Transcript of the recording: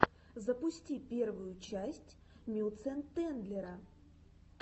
запусти первую часть мюцентендлера